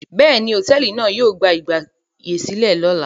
Bẹ́ẹ̀ni, hòtẹ́ẹ́lì náà yóò gba ìgbàyèsílẹ̀ lọ́la.